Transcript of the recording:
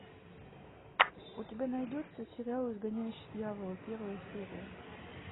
у тебя найдется сериал изгоняющий дьявола первая серия